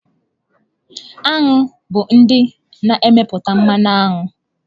Aṅụ bụ ndị na-emepụta mmanụ aṅụ.